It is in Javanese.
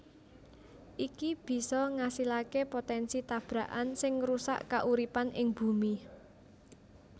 Iki bisa ngasilaké potènsi tabrakan sing ngrusak kauripan ing Bumi